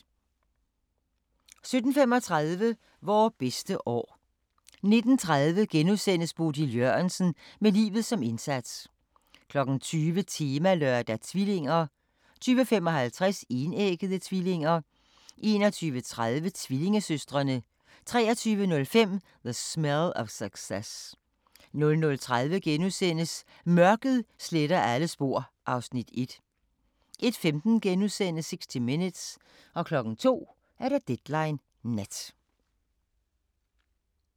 17:35: Vore bedste år 19:30: Bodil Jørgensen – med livet som indsats * 20:00: Temalørdag: Tvillinger 20:55: Enæggede tvillinger 21:30: Tvillingesøstrene 23:05: The Smell of Success 00:30: Mørket sletter alle spor (Afs. 1)* 01:15: 60 Minutes * 02:00: Deadline Nat